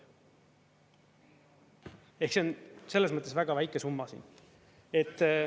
Ehk see on selles mõttes väga väike summa.